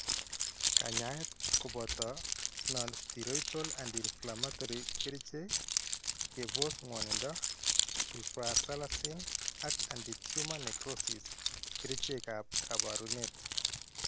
Kanyaayet kooboto nonsteroidal antflammatory kerichek ; keboss ngwonindo; sulfasalazine; ak anti tumor necrosis kerichekab kaabarunet